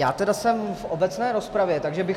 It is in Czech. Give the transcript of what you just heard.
Já tedy jsem v obecné rozpravě, takže bych -